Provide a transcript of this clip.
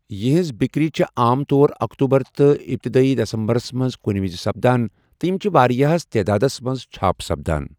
یِہنز بِكری چھے٘ عام طور اكتوٗبر تہٕ اِپتِدٲیی دِسمبرس منز كٗنہِ وِزِ سپدان تہٕ ِیم چھِ وارِیاہس تادادس منز چھاپ سپدان ۔